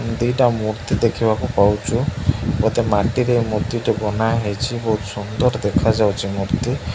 ଉଁ ଦି ଟା ମୂର୍ତ୍ତି ଦେଖିବାକୁ ପାଉଚୁ ବୋଧେ ମାଟିରେ ମୂର୍ତ୍ତି ଟେ ବନା ହେଇଚି ବହୁତ ସୁନ୍ଦର ଦେଖାଯାଉଚି ମୂର୍ତ୍ତି।